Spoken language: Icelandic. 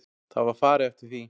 Það var farið eftir því.